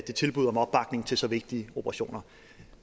det tilbud om opbakning til så vigtige operationer